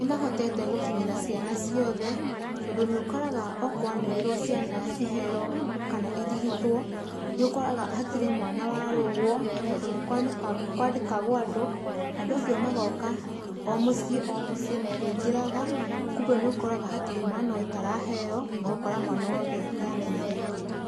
Nĩ mahotete gũkinyĩra ciana ciothe tondũ nĩ ũkoraga okwanĩrĩrwo ciana ciheo kana irigitwo, nĩ ũkoraga hatirĩ mwana warũgwo. Tondũ nĩ kwandĩkagwo andũ, andũ acio magoka o mũciĩ o mũciĩ makĩingĩraga, koguo nĩ ũkoraga hatirĩ mwana ũtaraheo na ũgakora mwana wothe nĩ amenyereirwo.